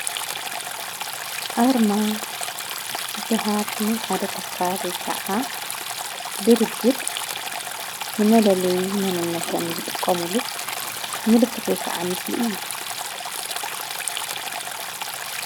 ኣርማ ዝበሃል ነይ ሓደ ተካል ወይከዓዓ ድርጅት ንመለለይ መነነተም ዝጥቆሙሉ ምልክት ወይከዓ ምስሊ እዩ።